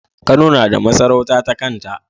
Kano nada masarauta ta kanta